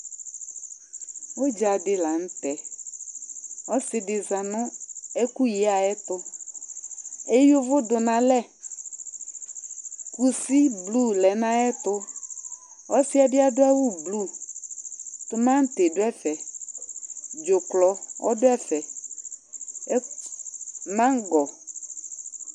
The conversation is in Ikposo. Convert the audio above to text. udza di la nu tɛ, ɔsi di za nu ɛku yiyɛ ayɛtu, ayuvu du nu alɛ, kusi blu lɛ nu ayɛtu, ɔsiɛ bi adu awu blu, tumanti du ɛfɛ, dzuklɔ du ɛfɛ, mangɔ